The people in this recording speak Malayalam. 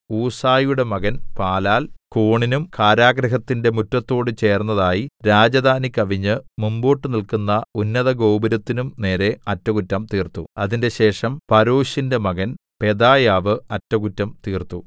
ഊസായിയുടെ മകൻ പാലാൽ കോണിനും കാരാഗൃഹത്തിന്റെ മുറ്റത്തോട് ചേർന്നതായി രാജധാനി കവിഞ്ഞ് മുമ്പോട്ട് നില്ക്കുന്ന ഉന്നതഗോപുരത്തിനും നേരെ അറ്റകുറ്റം തീർത്തു അതിന്‍റെശേഷം പരോശിന്റെ മകൻ പെദായാവ് അറ്റകുറ്റം തീർത്തു